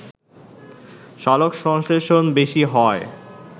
সালোকসংশ্লেষণ বেশি হয়